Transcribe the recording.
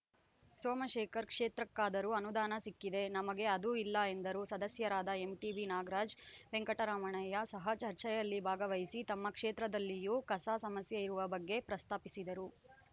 ಸೋಮಶೇಖರ್‌ ಕ್ಷೇತ್ರಕ್ಕಾದರೂ ಅನುದಾನ ಸಿಕ್ಕಿದೆ ನಮಗೆ ಅದೂ ಇಲ್ಲ ಎಂದರು ಸದಸ್ಯರಾದ ಎಂಟಿಬಿನಾಗರಾಜ್‌ ವೆಂಕಟರಮಣಯ್ಯ ಸಹ ಚರ್ಚೆಯಲ್ಲಿ ಭಾಗವಹಿಸಿ ತಮ್ಮ ಕ್ಷೇತ್ರದಲ್ಲಿಯೂ ಕಸ ಸಮಸ್ಯೆ ಇರುವ ಬಗ್ಗೆ ಪ್ರಸ್ತಾಪಿಸಿದರು